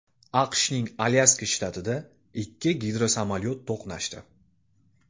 AQShning Alyaska shtatida ikki gidrosamolyot to‘qnashdi.